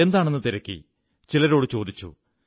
എന്താണെന്നു തിരക്കി ചിലരോടു ചോദിച്ചു